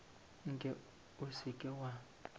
nke o se ke wa